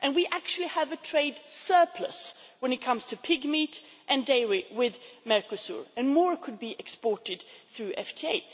We actually have a trade surplus when it comes to pigmeat and dairy with Mercosur, and more could be exported through FTA.